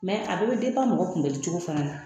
a bɛɛ bɛ mɔgɔ kunbɛli cogo fana na